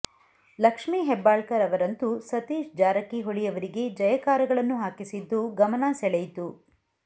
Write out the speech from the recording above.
ಲಕ್ಷ್ಮಿ ಹೆಬ್ಬಾಳ್ಕರ್ ಅವರಂತೂ ಸತೀಶ್ ಜಾರಕಿಹೊಳಿ ಅವರಿಗೆ ಜಯಕಾರಗಳನ್ನು ಹಾಕಿಸಿದ್ದು ಗಮನ ಸೆಳೆಯಿತು